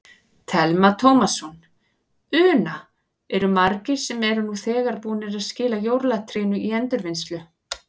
Telma Tómasson: Una, eru margir sem eru nú þegar búnir að skila jólatrénu í endurvinnslu?